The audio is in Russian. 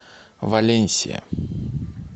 валенсия